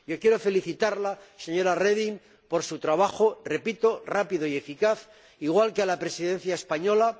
Yo quiero felicitarla, señora Reding, por su trabajo repito rápido y eficaz, igual que a la Presidencia española.